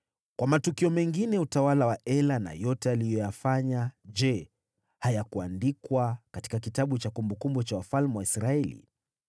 Kwa matukio mengine ya utawala wa Ela, na yote aliyoyafanya, je, hayakuandikwa katika kitabu cha kumbukumbu za wafalme wa Israeli?